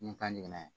Ni kan jiginna yen